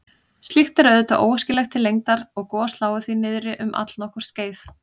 Slíkt er auðvitað óæskilegt til lengdar og gos lágu því niðri um allnokkurt skeið.